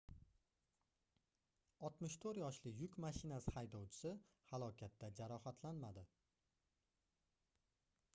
64 yoshli yuk mashinasi haydovchisi halokatda jarohatlanmadi